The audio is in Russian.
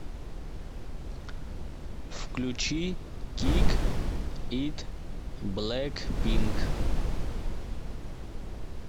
включи кик ит блэкпинк